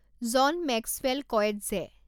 John Maxwell Coetzee